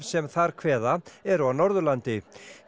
sem þar kveða eru af Norðurlandi